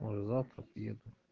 может завтра приеду